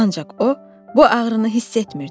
Ancaq o bu ağrını hiss etmirdi.